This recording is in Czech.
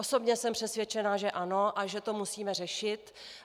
Osobně jsem přesvědčena, že ano a že to musíme řešit.